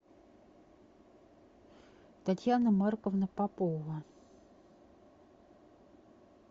татьяна марковна попова